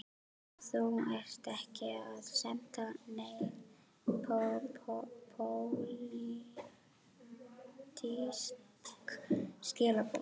Kristján: Þú ert ekki að senda nein pólitísk skilaboð?